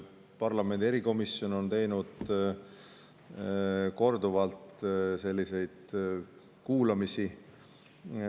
Parlamendi erikomisjon on teinud korduvalt selliseid kuulamisi.